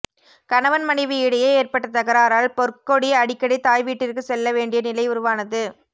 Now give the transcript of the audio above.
கணவன் மனைவி இடையே ஏற்பட்ட தகராறால் பொற்கொடி அடிக்கடி தாய் வீட்டிற்கு செல்ல வேண்டிய நிலை உருவானது